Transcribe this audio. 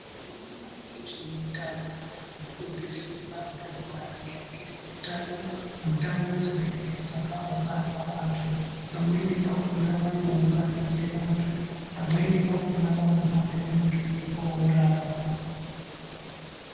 Vanoona nezveutano vanofundise vantu maringe nezveutano ndau dzinenge dzakaungana vantu, pamweni pakhona vanounganidze vantu, pamweni pakhona vanohambe muzvikora.